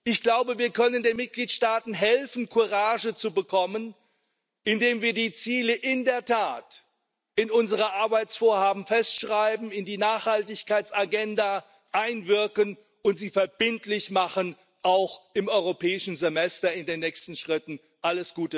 Ich glaube, wir können den Mitgliedstaaten helfen, Courage zu bekommen, indem wir die Ziele in der Tat in unseren Arbeitsvorhaben festschreiben, in die Nachhaltigkeitsagenda einbringen und sie auch im Europäischen Semester in den nächsten Schritten verbindlich machen.